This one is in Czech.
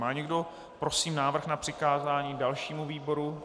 Má někdo, prosím, návrh na přikázání dalšímu výboru?